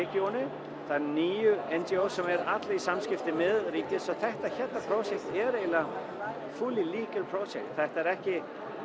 radioinu það eru níu indieos sem eru allir í samskiptum með ríki þetta hérna projekt er eiginlega fully projekt þetta er ekki